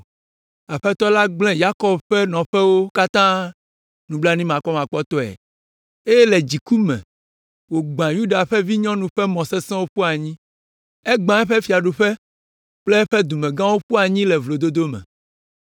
Aƒetɔ la gblẽ Yakob ƒe nɔƒewo katã nublanuimakpɔmakpɔtɔe. Eye le eƒe dziku me wògbã Yuda vinyɔnu ƒe mɔ sesẽwo ƒu anyi. Egbã eƒe fiaɖuƒe kple eƒe dumegãwo ƒu anyi le vlododo me.